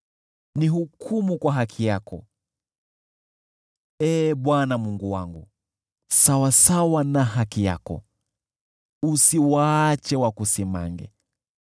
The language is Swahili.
Nihukumu kwa haki yako, Ee Bwana Mungu wangu, sawasawa na haki yako; usiwaache wakusimange.